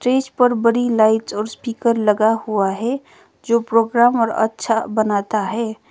Stage पर बड़ी light और स्पीकर लगा हुआ है जो प्रोग्राम और अच्छा बनाता है।